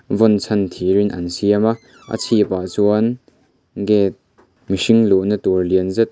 vawn chhan thir in an siam a a chhip ah chuan gate mihring luh na tur lian zet --